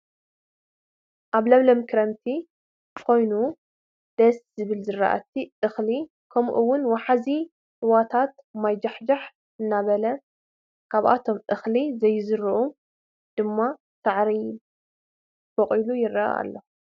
አብ ለምለም ክረምቲ ኮይኑ ደስ ዝብሉ ዝራእቲ (እክሊ) ከምኡ ውን ወሓዝቲ ሩባታት ማይ ጃሕጃሕ እንዳበለ አብቶም እክሊ ዘይዝርኡ ድማ ሳዕሪ በቊሉ ይረአ አሎ፡፡